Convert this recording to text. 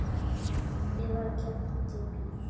Eða keypti bíl.